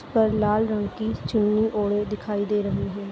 पर लाल रंग की चुन्नी ओढ़े दिखाई दे रही है।